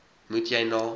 moet jy na